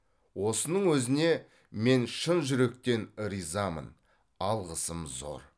осының өзіне мен шын жүректен ризамын алғысым зор